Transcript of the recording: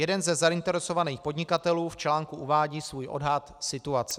Jeden ze zainteresovaných podnikatelů v článku uvádí svůj odhad situace.